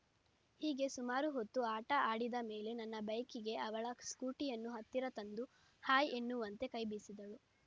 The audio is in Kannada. ಹೀಗೆ ಸುಮಾರು ಹೊತ್ತು ಆಟ ಆಡಿದ ಮೇಲೆ ನನ್ನ ಬೈಕಿಗೆ ಅವಳ ಸ್ಕೂಟಿಯನ್ನು ಹತ್ತಿರ ತಂದು ಹಾಯ ಎನ್ನುವಂತೆ ಕೈ ಬೀಸಿದಳು